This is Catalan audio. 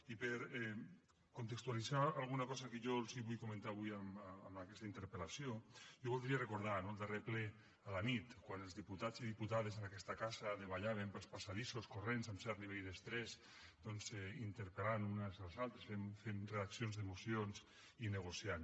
i per contextualitzar alguna cosa que jo els vull comentar avui amb aquesta interpel·lació jo voldria recordar no el darrer ple a la nit quan els diputats i diputades en aquesta casa davallàvem pels passadissos corrents amb cert nivell d’estrès doncs interpel·lant nos uns als altres fent redaccions de mocions i negociant